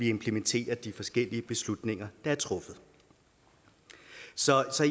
implementere de forskellige beslutninger der er truffet så